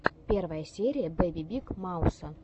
первая серия бэби биг мауса